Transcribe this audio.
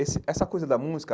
Esse essa coisa da música,